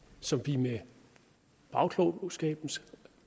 som vi i bagklogskabens